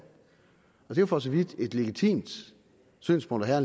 det er jo for så vidt et legitimt synspunkt at have